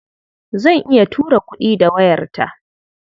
Zan iya tura kuɗi da wayarta.